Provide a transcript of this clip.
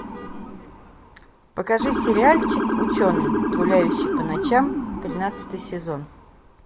покажи сериальчик ученый гуляющий по ночам тринадцатый сезон